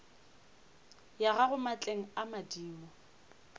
ya gago maatleng a madimo